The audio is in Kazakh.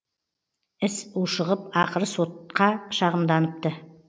іс ушығып ақыры сотқа шағымданыпты